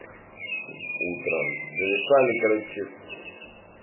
утром зависали короче с